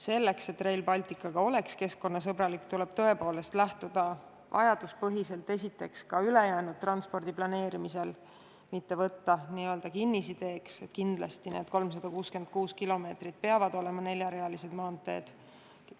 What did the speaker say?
Selleks aga, et Rail Baltic oleks keskkonnasõbralik, tuleb tõepoolest lähtuda vajaduspõhiselt esiteks ka ülejäänud transpordi planeerimisest, mitte võtta kinnisideeks, et kindlasti need 366 kilomeetrit peavad olema neljarealised maanteed.